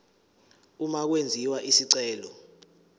uma kwenziwa isicelo